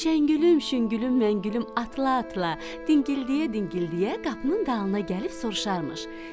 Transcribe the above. Şəngülüm, şüngülüm, məngülüm atla-atla, dingildiyə-dingildiyə qapının dalına gəlib soruşarmış.